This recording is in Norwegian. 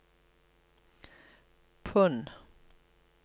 pund